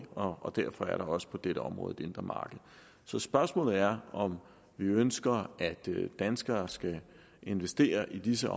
og derfor er der også på dette område et indre marked så spørgsmålet er om vi ønsker at danskere skal investere i disse